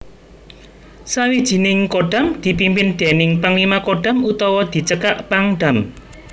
Sawijining Kodam dipimpin déning Panglima Kodam utawa dicekak Pangdam